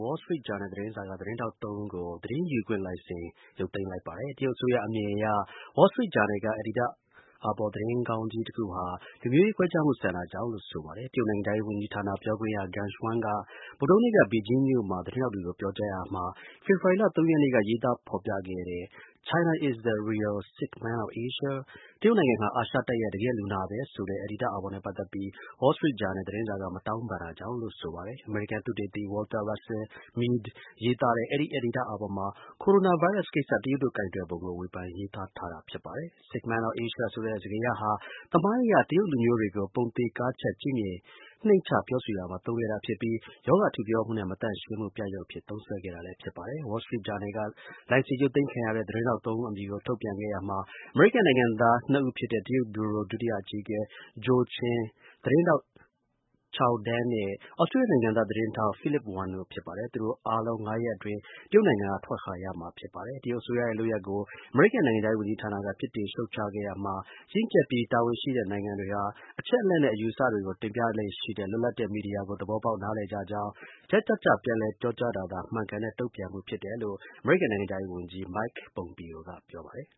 Wall Street Journal သတင်းစာက သတင်းထောက် ၃ ဦးကို သတင်းယူခွင့်လိုင်စင် ရုပ်သိမ်းလိုက် ပါတယ်။ တရုတ်အစိုးရ အမြင်အရ သူတို့ ရေးတဲ့ အယ်ဒီတာ့အာဘော် သတင်းခေါင်းကြီးတွေဟာ လူမျိုးရေး ခွဲခြားမှု ဆန်တာကြောင့်လို့ ဆိုပါတယ်။ တရုတ်နိုင်ငံခြားရေး ဝန်ကြီးဌာနပြောခွင့်ရ Geng Shuang က ဗုဒ္ဓဟူးနေ့က ဘေဂျင်းမြို့မှာ သတင်းထောက် တွေကို ပြောကြားရာမှာ ဖေဖော်ဝါရီလ ၃ ရက်နေ့က ရေးသားဖော်ပြခဲ့တဲ့ China is the Real Sick Man of Asia. တရုတ်နိုင်ငံဟာ အာရှတိုက်ရဲ့ တကယ့်လူနာပဲ ဆိုတဲ့ အယ်ဒီတာ့ အာဘော်နဲ့ ပတ်သတ်ပြီး Wall Street Journal သတင်းစာက မတောင်းပန် တာကြောင့်လို့ ဆိုပါတယ်။ အမေရိကန်သုတေသီ Walter Russell Mead ရေးသားတဲ့ အဲဒီ အယ်ဒီတာ့ အာဘော်မှာ Coronavirus ကိစ ္စတရုတ်တို့ ကိုင်တွယ်ပုံကို ဝေဖန် ရေးသားထားတာပါ။ Sick Man of Asia ဆိုတဲ့ စကားရပ်ဟာ သမိုင်းအရ တရုတ်လူမျိုးတွေကို ပုံသေကားချပ် ကြည့်မြင် နှိမ်ချ ပြောဆိုရာမှာ သုံးခဲ့တာဖြစ်ပြီး အနာရောဂါထူပြောမှုနဲ့ မသန့်ရှင်းမှု အဖြစ် သုံးစွဲခဲ့တာ ဖြစ်ပါတယ်။ Wall Street Journal က လိုင်စင်ရုပ်သိမ်းခံရတဲ့ သတင်းထောက် ၃ ဦး နာမည်ကို ထုတ်ပြန်ခဲ့ရာမှာ အမေရိကန် နိုင်ငံသား ၂ ဦးဖြစ်တဲ့ တရုတ် ဗျူရို ဒုတိယ အကြီးအကဲ Josh Chin၊ သတင်းထောက် Chao Deng နဲ့ သြစတြေးလျနိုင်ငံသား သတင်းထောက် Philip Wen တို့ ဖြစ်ပါတယ်။ သူတို့အားလုံး ၅ ရက်အတွင်း တရုတ်နိုင်ငံက ထွက်ခွာရမှာ ဖြစ်ပါတယ်။ တရုတ်အစိုးရရဲ့ လုပ်ရပ်ကို အမေရိကန် နိုင်ငံခြားရေး ဝန်ကြီးဌာနက ပြစ်တင် ရှုတ်ချခဲ့ရာမှာ ရင့်ကျက်ပြီး တာဝန်ရှိတဲ့ နိုင်ငံတွေဟာ အချက်အလက်နဲ့ အယူအဆတွေကို တင်ပြလေ့ရှိတဲ့ လွတ်လပ်တဲ့ မီဒီယာကို သဘောပေါက် နားလည်ကြကြောင်း၊ ချက်ကျကျ ပြန်လည် ပြောကြားတာသာ မှန်ကန်တဲ့ တုန့်ပြန်မှု ဖြစ်တယ်လို့ အမေရိကန် နိုင်ငံခြားရေးဝန်ကြီး Mike Pompeo က ပြောပါတယ်